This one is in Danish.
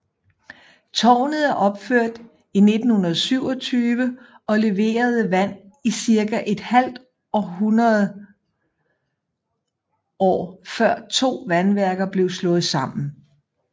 Tårnet er opført i 1927 og leverede vand i cirka et halvt hundrede år før to vandværker blev slået sammen